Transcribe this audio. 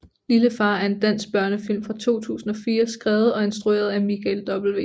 Lille far er en dansk børnefilm fra 2004 skrevet og instrueret af Michael W